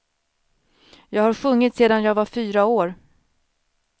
Jag har sjungit sedan jag var fyra år.